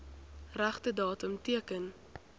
regte datum teken